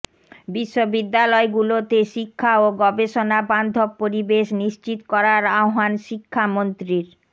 বিশ্ববিদ্যালয়গুলোতে শিক্ষা ও গবেষণাবান্ধব পরিবেশ নিশ্চিত করার আহ্বান শিক্ষামন্ত্রীর